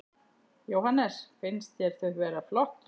Jóhannes: Finnst þér þau vera flott?